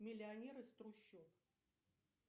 миллионер из трущоб